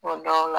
Kuma dɔw la